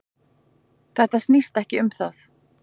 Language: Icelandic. Þetta snýst ekki um það